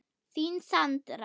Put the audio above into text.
Þín, Sandra.